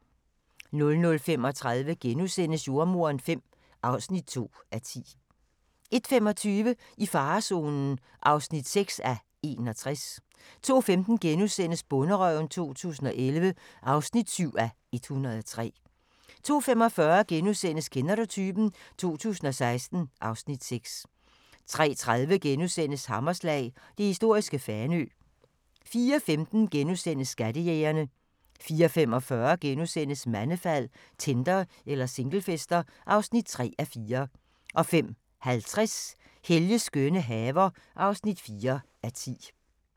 00:35: Jordemoderen V (2:10)* 01:25: I farezonen (6:61) 02:15: Bonderøven 2011 (7:103)* 02:45: Kender du typen? 2016 (Afs. 6)* 03:30: Hammerslag – det historiske Fanø * 04:15: Skattejægerne * 04:45: Mandefald – Tinder eller singlefester? (3:4)* 05:50: Helges skønne haver (4:10)